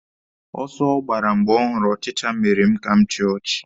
Ọsọ ọ gbara mgbe ọ hụrụ ọchịcha mere m ka m chịa ọchị.